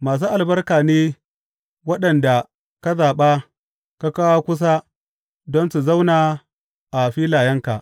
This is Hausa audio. Masu albarka ne waɗanda ka zaɓa ka kawo kusa don su zauna a filayenka!